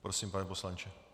Prosím, pane poslanče.